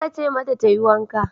Aka ce mata ta yi wanka.